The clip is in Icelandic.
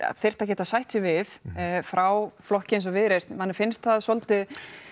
þyrfti að geta sætt sig við frá flokki eins og Viðreisn manni finnst það svolítið